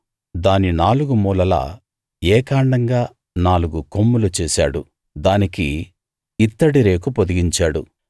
దాని నాలుగు మూలలా ఏకాండంగా నాలుగు కొమ్ములు చేశాడు దానికి ఇత్తడి రేకు పొదిగించాడు